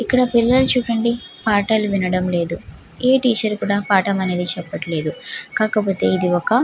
ఇక్కడ చుడండి ఈ పిల్లలు అనేది పాఠం వినడం లేదు ఇక్కడ టీచర్ కూడా పాఠం చేపడం లేదు.